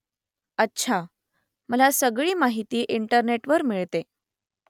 अच्छा . मला सगळी माहिती इंटरनेटवर मिळते